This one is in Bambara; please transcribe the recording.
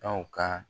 Aw ka